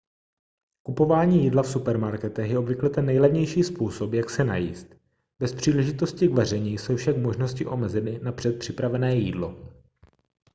kupování jídla v supermarketech je obvykle ten nejlevnější způsob jak se najíst bez příležitosti k vaření jsou však možnosti omezeny na předpřipravené jídlo